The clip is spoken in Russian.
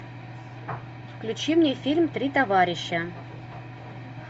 включи мне фильм три товарища